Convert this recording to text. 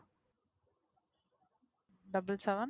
Double seven